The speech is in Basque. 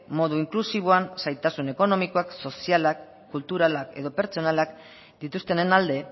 modu inklusiboan zailtasun ekonomikoak sozialak kulturalak edo pertsonalak dituztenen alde